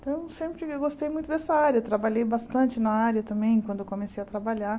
Então eu sempre gostei muito dessa área, trabalhei bastante na área também, quando eu comecei a trabalhar.